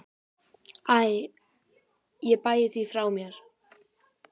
Æ ég bægi því frá mér.